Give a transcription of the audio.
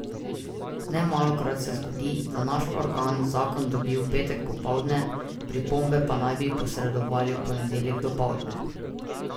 Nemalokrat se zgodi, da naš organ zakon dobi v petek popoldne, pripombe pa naj bi posredovali v ponedeljek dopoldne.